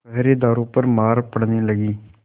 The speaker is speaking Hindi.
पहरेदारों पर मार पड़ने लगी